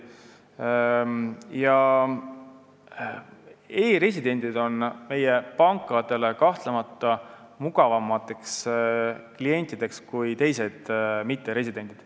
E-residendid on meie pankadele kahtlemata mugavamad kliendid kui teised mitteresidendid.